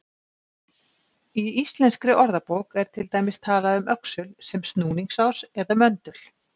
Í Íslenskri orðabók er til dæmis talað um öxul sem snúningsás eða möndul.